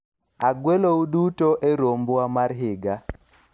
agwelou duto e rombwa mar higa